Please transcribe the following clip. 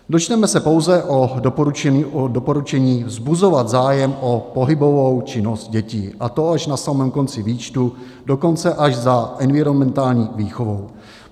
Dočteme se pouze o doporučení vzbuzovat zájem o pohybovou činnost dětí, a to až na samém konci výčtu, dokonce až za environmentální výchovou.